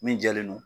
Min jɛlen don